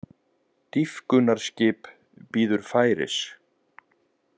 Dýpkunarskip bíður færis